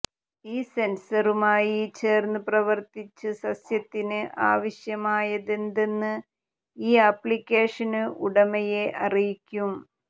ഈ സെന്സറുമായി ചേര്ന്ന് പ്രവര്ത്തിച്ച് സസ്യത്തിന് ആവശ്യമായതെന്തെന്ന് ഈ ആപ്ലിക്കേഷന് ഉടമയെ അറിയിക്കും